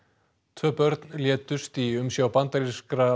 tvö börn létust í umsjá bandarískra